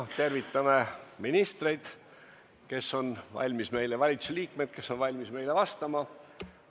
Tervitame ministreid, valitsusliikmeid, kes on valmis meile vastama!